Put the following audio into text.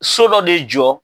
So dɔ de jɔ